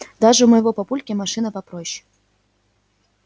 даже у моего папульки машина попроще